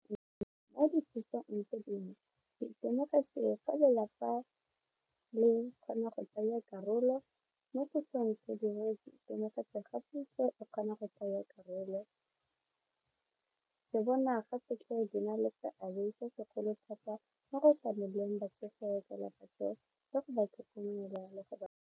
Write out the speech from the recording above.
Tse dingwe ke itemogetse fa lelapa le kgona go tsaya karolo mo ke itemogetse gape o kgona go tsaya karolo go bona fa ke tla be ke na le na le seabe se segolo thata mo go tlameleng batsofe ba tlhokomela le go ba.